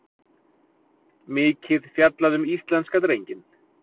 Mikið fjallað um íslenska drenginn